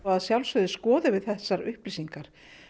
að sjálfsögðu skoðum við þessar upplýsingar